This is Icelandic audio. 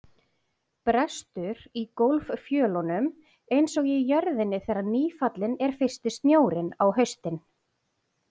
Brestur í gólffjölunum einsog í jörðinni þegar nýfallinn er fyrsti snjórinn á haustin.